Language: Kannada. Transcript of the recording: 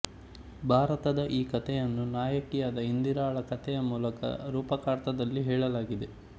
ಭಾರತದ ಈ ಕಥೆಯನ್ನು ನಾಯಕಿಯಾದ ಇಂದಿರಾಳ ಕಥೆಯ ಮೂಲಕ ರೂಪಕಾರ್ಥದಲ್ಲಿ ಹೇಳಲಾಗಿದೆ